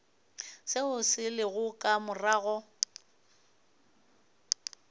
seo se lego ka morago